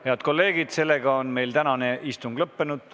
Head kolleegid, meie tänane istung on lõppenud.